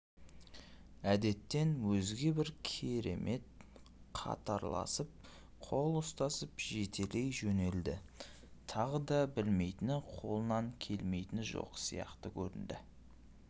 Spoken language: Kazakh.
әдеттен өзге бір керемет қатарласып қол ұстасып жетелей жөнелді тағы да білмейтіні қолынан келмейтіні жоқ сияқты көрінді